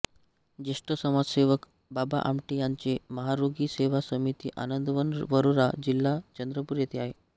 ज्येष्ठ समाजसेवक बाबा आमटे यांचे महारोगी सेवा समिती आनंदवन वरोरा जि चंद्रपूर येथे आहे